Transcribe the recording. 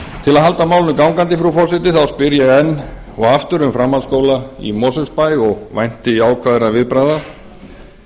til að halda málinu gangandi frú forseti þá spyr ég enn og aftur um framhaldsskóla í mosfellsbæ og vænti jákvæðra viðbragða það